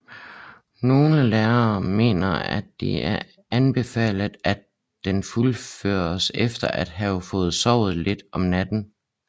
Nogle lærte mener at det er anbefalet at den fuldføres efter at få sovet lidt om natten